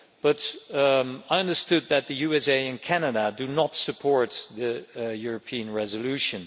But I understand that the USA and Canada do not support the European resolution.